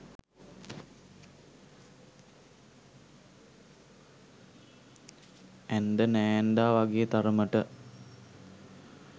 ඇන්ඳා නෑන්දා වගේ තරමට